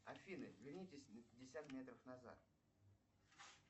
афина вернитесь на пятьдесят метров назад